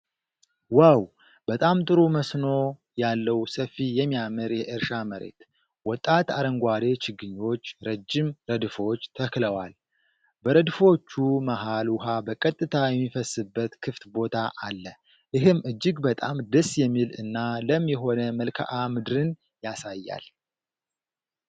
ዋው! በጣም ጥሩ መስኖ ያለው ሰፊ የሚያምር የእርሻ መሬት። ወጣት አረንጓዴ ችግኞች ረጅም ረድፎች ተክለዋል። በረድፎቹ መሃል ውሃ በቀጥታ የሚፈስበት ክፍት ቦታ አለ፤ ይህም እጅግ በጣም ደስ የሚል እና ለም የሆነ መልክዓ ምድርን ያሳያል።